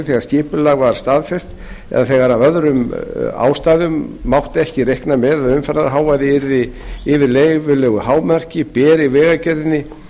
þegar skipulag var staðfest eða þegar af öðrum ástæðum mátti ekki reikna með að umferðarhávaði yrði yfir leyfilegu hámarki beri vegagerðin